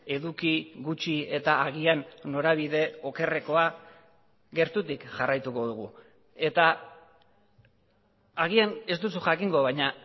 eduki gutxi eta agian norabide okerrekoa gertutik jarraituko dugu eta agian ez duzu jakingo baina